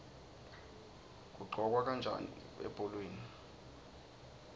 kuqhokwa kanjani ebholeni